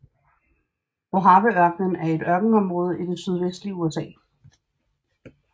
Mojaveørkenen er et ørkenområde i det sydvestlige USA